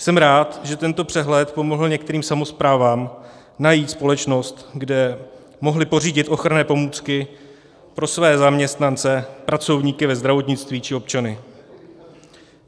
Jsem rád, že tento přehled pomohl některým samosprávám najít společnost, kde mohli pořídit ochranné pomůcky pro své zaměstnance, pracovníky ve zdravotnictví či občany.